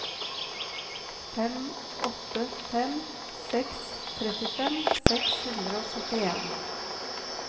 fem åtte fem seks trettifem seks hundre og syttien